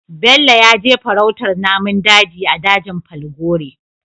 Bello yaje farautar namun daji a dajin falgore